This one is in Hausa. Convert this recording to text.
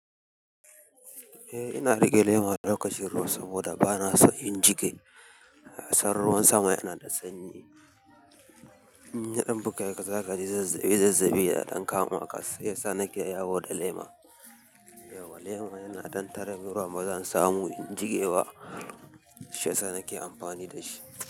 Eh ina rike lema lokacin ruwa saboda ba na son in jike. Kasan ruwan sama yana da sanyi. Ɓuga ka zakaci zazzabi zazzabi da ɗan kama ƙarshe, sannan ke yawo da lema. Lema yana ɗan tare ruwa bazan samu in jige ba, shi ya sa nake amfani da shi.